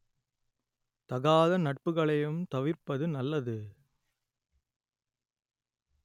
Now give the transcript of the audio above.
தகாத நட்புகளையும் தவிர்ப்பது நல்லது